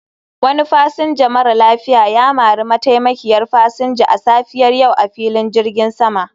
Wani fasinja mara lafiya ya mari mataimakiyar fasinja a safiyar yau a filin jirgin sama